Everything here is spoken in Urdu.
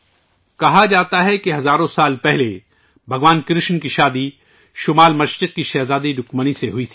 کہا جاتا ہے کہ ہزاروں سال پہلے بھگوان کرشن کی شادی شمال مشرق کی ایک شہزادی رکمنی سے ہوئی تھی